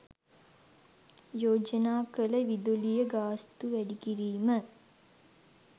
යෝජනා කළ විදුලිය ගාස්තු වැඩිකිරීම